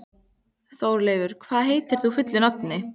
Þórleifur, hvað heitir þú fullu nafni?